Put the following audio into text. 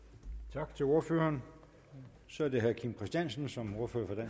tak til ordføreren så er det herre kim christiansen som ordfører for